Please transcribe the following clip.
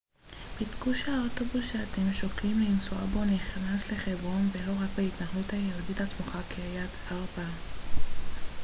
בדקו שהאוטובוס שאתם שוקלים לנסוע בו נכנס לחברון ולא רק להתנחלות היהודית הסמוכה קריית ארבע